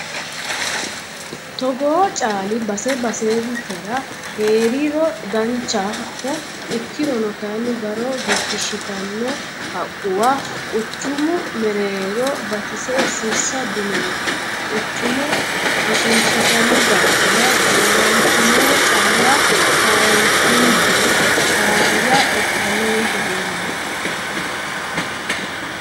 Togoo caali base basetera heeriro danchaho ikkirono kayinni daro gigishittano haqquwa quchumu mereero batise sirsa dinonke quchuma ishinshittano daafira dooratinore calla kaasi'nummoro faayya ikkano yee hedeemmo.